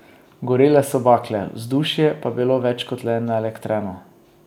Gorele so bakle, vzdušje pa je bilo več kot le naelektreno.